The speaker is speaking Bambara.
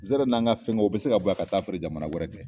Nsɛrɛ n'an ka fɛngɛw o bɛ se ka bɔ yan ka taa feere jamana wɛrɛ kɛ